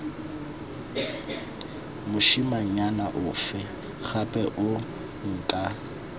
mosimanyana ofe gape yo nka